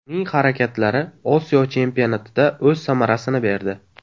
Uning harakatlari Osiyo Chempionatida o‘z samarasini berdi.